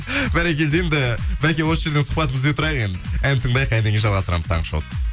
бәрекелді енді мінекей осы жерден сұхбатымызды үзе тұрайық енді ән тыңдайық әннен кейін жалғастырамыз таңғы шоуды